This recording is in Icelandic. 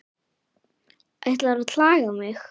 Ætlarðu að klaga mig?